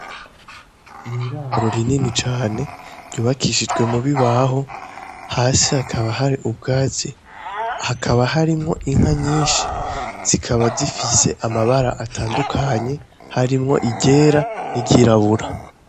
Niraru rainini cane ryubakishijwe mu bibaho hasi hakaba hari ubwaze hakaba harimwo inka nyinshi zikaba zifise amabara atandukanye harimwo igera n'iryirabura.